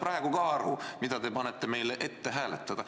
Ma ei saa aru, mida te panete meile ette hääletada.